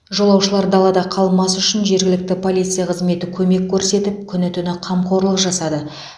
жолаушылар далада қалмас үшін жергілікті полиция қызметі көмек көрсетіп күні түні қамқорлық жасады